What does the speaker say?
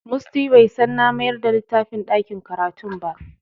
Musty bai san na mayar da littafin ɗakin karatun ba.